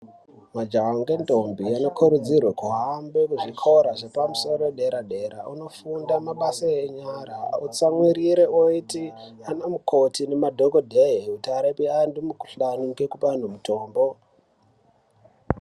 Majaha ngendombi anokurudzirwe kuhambe kuzvikora zvepamusoro dera dera ondofunda mabasa enyara otsamwirire oite ana mukoti nema dhokodhee kuti arape antu mikhuhlani nekupa anhu mutombo.